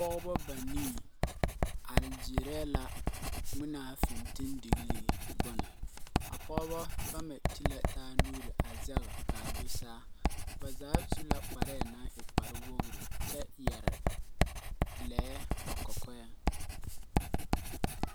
Pɔgebɔ banii are gyeerɛɛ la ŋmenaa fentendegelee bone. A Pɔgebɔ bama ti la taa nuure a zɛge kaa do saa. Ba zaa su la kparɛɛ naŋ e kparwogiri kyɛ yɛre lɛɛ ba kɔkɔɛŋ.